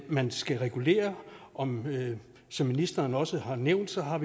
man skal regulere og som ministeren også har nævnt har